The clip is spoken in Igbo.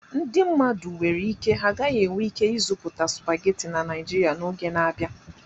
Ndị mmadụ nwere ike ha gaghị enwe ike ịzuta supagetii na Naijiria n'oge na-abịa.